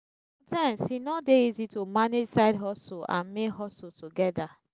times e no de easy to manage side hustle and main hustle together